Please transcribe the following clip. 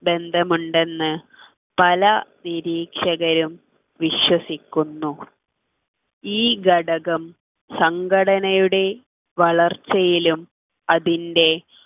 ബന്ധമുണ്ടെന്ന് പല നിരീക്ഷകരും വിശ്വസിക്കുന്നു ഈ ഘടകം സംഘടനയുടെ വളർച്ചയിലും അതിൻ്റെ